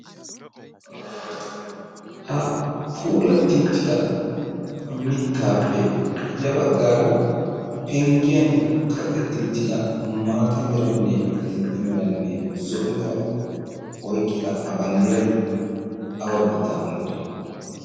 ha puulatti uttidaa mittaappe ya baggaara penggiyan kaqqetti uttida maata meranne adil''e meranne zo'o mera oyqqida ha banddiray awa biittaa banddira